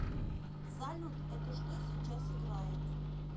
салют это что сейчас играет